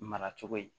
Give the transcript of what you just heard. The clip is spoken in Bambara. Mara cogo ye